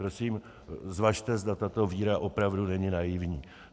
Prosím, zvažte, zda tato víra opravdu není naivní.